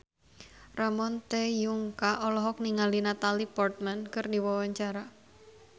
Ramon T. Yungka olohok ningali Natalie Portman keur diwawancara